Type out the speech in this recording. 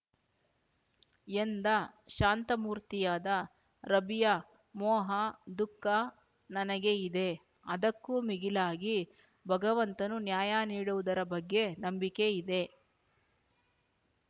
ಎಂದ ಶಾಂತಮೂರ್ತಿಯಾದ ರಬಿಯಾ ಮೋಹ ದುಃಖ ನನಗೆ ಇದೆ ಅದಕ್ಕೂ ಮಿಗಿಲಾಗಿ ಭಗವಂತನು ನ್ಯಾಯ ನೀಡುವುದರ ಬಗ್ಗೆ ನಂಬಿಕೆ ಇದೆ